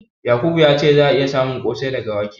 Yakubu ya ce za'a iya samun ƙosai daga wake.